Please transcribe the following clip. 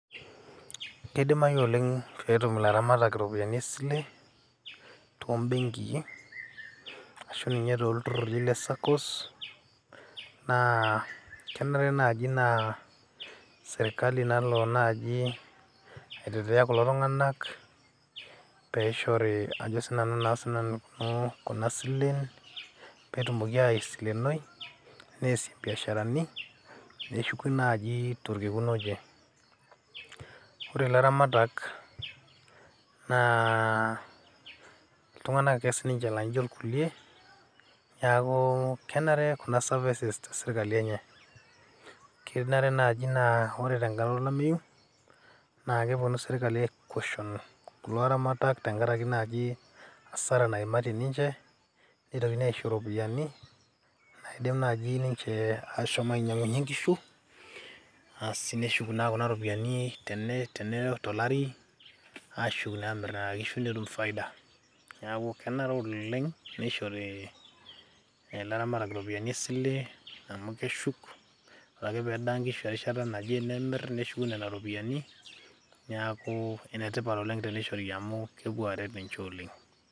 kidimayu oleng petum ilaramatak iropiyiani esile tombenkii ashu ninye tolturruri le saccos naa kenare naaji naa sirkali nalo naaji aitetea kulo tung'anak peishori ajo sinanu naa kuna silen petumoki aisilenoi nesie imbiasharani neshuku naaji torkekun oje ore ilaramatak naa iltung'anak ake sininche laijio irkulie niaku kenare kuna services tesirkali enye kenare naaji naa ore tenkata olameyu naa keponu sirkali ae caution kulo aramatak tenkarake naaji hasara naimaitie ninche nitokini aisho iropiyiani naidim naaji ninche ashom ainyiang'unyie inkishu aasi neshuk naa kuna ropiyiani tene, tolari ashuk naa amirr nena kishu netum faida neeku kenare oleng nishori ilaramatak iropiyiani esile amu keshuk ore ake pedaa nkishu erishata naje nimirr neshuku nena ropiyiani niaku enetipat oleng tenishori amu kepuo aret ninche oleng.